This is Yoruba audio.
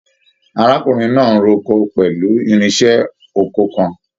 Arákùnrin náà n r'oko pẹlú irinṣẹ́ oko kàn.